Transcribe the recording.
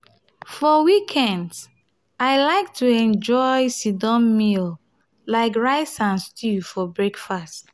for weekends i like to enjoy sit-down meal like rice and stew for breakfast.